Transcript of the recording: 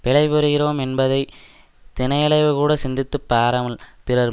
பிழை புரிகிறோம் என்பதை தினையளவுகூடச் சிந்தித்து பாராமல் பிறன்